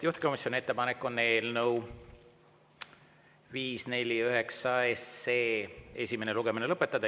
Juhtivkomisjoni ettepanek on eelnõu 549 esimene lugemine lõpetada.